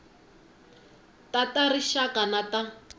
ta ta rixaka na ta